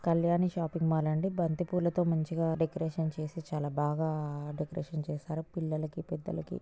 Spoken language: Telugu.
కళ్యాణి షాపింగ్ మాల్ అండి . బంతి పూలతో మంచిగా డెకొరేషన్ చేసి చాలా బాగా డెకొరేషన్ చేసారు పిల్లలు.